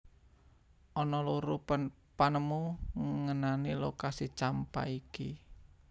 Ana loro panemu ngenani lokasi Champa iki